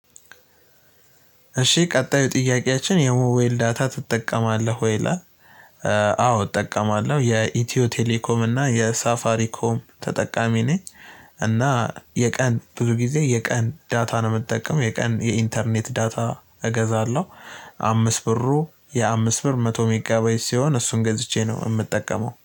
እሺ ቀጣዩ ጥያቄያችን የሞባይል ዳታ ትጠቀማለህ ወይ ይላል? አዎ እጠቀማለሁ የኢትዮ ቴሌኮም እና የሳፋሪኮም ተጠቃሚ ነኝ። እና የቀን ብዙ ጊዜ የቀን ዳታ ነው የምጠቀመው የቀን የኢንተርኔት ዳታ እገዛለሁ። አምስት ብሩ የአምስት ብር መቶ ሜጋባይት ሲሆን እሱን ገዝቼ ነው የምጠቀመው